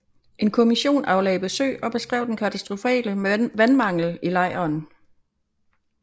En kommission aflagde besøg og beskrev den katastrofale vandmangel i lejren